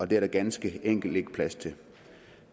det er der ganske enkelt ikke plads til og